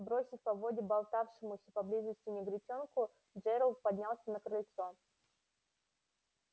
бросив поводья болтавшемуся поблизости негритёнку джералд поднялся на крыльцо